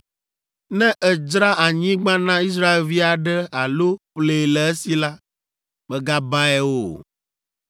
“ ‘Ne èdzra anyigba na Israelvi aɖe alo ƒlee le esi la, mègabae o.